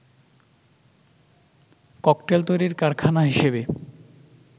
cocktail তৈরির কারখানা হিসেবে